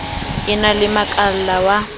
e na le mokakallane wa